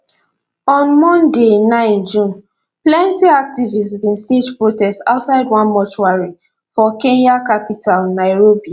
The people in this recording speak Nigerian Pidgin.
on monday 9 june plenty activists bin stage protest outside one mortuary for kenya capital nairobi